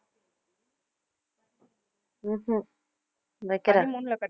உம் ஹம் வைக்கிறேன்